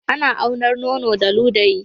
Ana aunar nono da ludayi